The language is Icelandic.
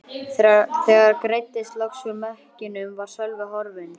Þegar greiddist loks úr mekkinum var Sölvi horfinn.